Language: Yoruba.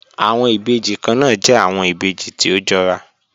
Awọn ibeji kanna jẹ awọn ibeji ti o jọra